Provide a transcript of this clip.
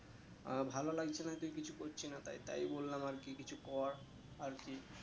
আহ ভালো লাগছে না তুই কিছু করছিস না তাই তাই বললাম আর কি কিছু কর আর কি